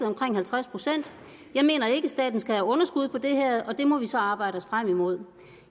omkring halvtreds procent jeg mener ikke at staten skal have underskud på det her og det må vi så arbejde os frem imod